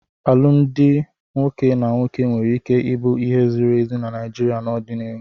Alụmdi nwoke na nwoke nwere ike ịbụ ihe ziri ezi na Naịjirịa n'ọdịnihu.